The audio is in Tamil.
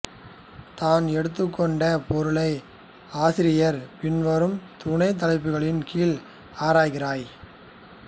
தான் எடுத்துக்கொண்ட பொருளை ஆசிரியர் பின்வரும் துணைத் தலைப்புக்களின் கீழ் ஆராய்கிறார்